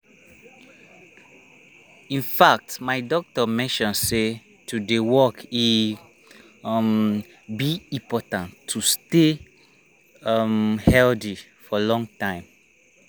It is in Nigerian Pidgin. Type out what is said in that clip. in fact my doctor mention say to dey walk e um be important to stay um healthy for long time.